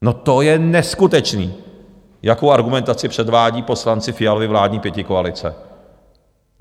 No to je neskutečné, jakou argumentaci předvádí poslanci Fialovy vládní pětikoalice.